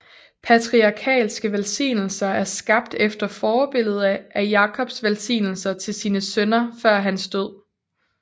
Patriarkalske velsignelser er skabt efter forbillede af Jakobs velsignelser til sine sønner før hans død